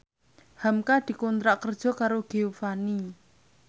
hamka dikontrak kerja karo Giovanni